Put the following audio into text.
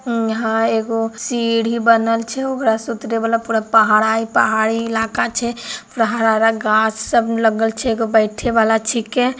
यहाँ एगो सीढ़ी बनल छे ओकरा से उतरे वाला पूरा पहाड़ पहाड़ी इलाका छिके हरा-हरा गाछ सब लगल छे एगो बैठे वाला छिके।